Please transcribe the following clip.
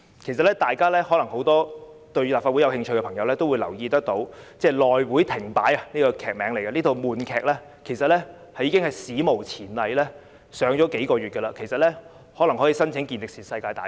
其實，很多對立法會事務有興趣的朋友也會留意到，"內會停擺"這套悶劇已史無前例地上演了數月，甚至可以申請健力士世界紀錄大全。